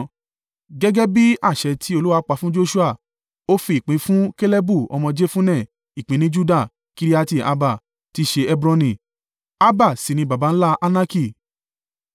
Gẹ́gẹ́ bí àṣẹ tí Olúwa pa fún Joṣua, ó fi ìpín fún Kalebu ọmọ Jefunne, ìpín ní Juda—Kiriati-Arba, tí í ṣe Hebroni. (Arba sì ní baba ńlá Anaki.)